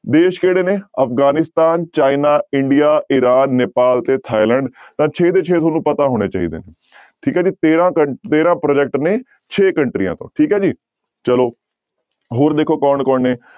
ਦੇਸ ਕਿਹੜੇ ਨੇ Afghanistan, China india Iran, Nepal ਤੇ ਥਾਈਲੈਂਡ ਤਾਂ ਛੇ ਦੇ ਛੇ ਤੁਹਾਨੂੰ ਪਤਾ ਹੋਣੇ ਚਹੀਦੇ ਠੀਕ ਹੈ ਜੀ ਤੇਰਾਂ ਕੰ ਤੇਰਾਂ project ਨੇ ਛੇ ਕੰਟਰੀਆਂ ਤੋਂ ਠੀਕ ਹੈ ਜੀ ਚਲੋ ਹੋਰ ਦੇਖੋ ਕੌਣ ਕੌਣ ਨੇ।